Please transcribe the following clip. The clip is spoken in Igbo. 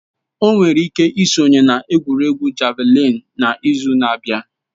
O nwere ike sonye na egwuregwu javalịn n'izu na-abịa